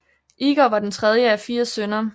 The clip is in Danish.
Igor var den tredje af fire sønner